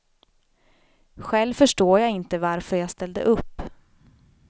Själv förstår jag inte varför jag ställde upp.